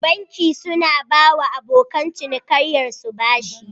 Banki suna bawa abokan cinikaiyar su bashi